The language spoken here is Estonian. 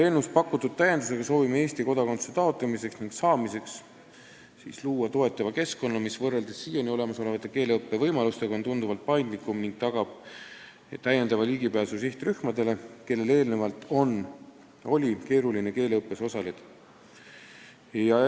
Eelnõus pakutud täiendusega soovime Eesti kodakondsuse taotlemiseks ja saamiseks luua toetava keskkonna, mis on võrreldes olemasolevate keeleõppe võimalustega tunduvalt paindlikum ning tagab ligipääsu ka sihtrühmadele, kellel on siiani olnud keeruline keeleõppes osaleda.